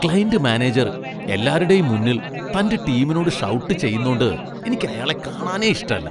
Client manager എല്ലാരുടേം മുന്നിൽ തന്റെ ടീമിനോട് ഷൗട്ട് ചെയ്യുന്നോണ്ട് എനിക്കയാളെ കാണാനേ ഇഷ്ടല്ല.